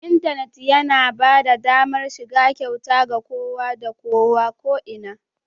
Intanit yana ba da damar shiga kyauta ga kowa da kowa, ko'ina